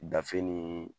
Gafe nin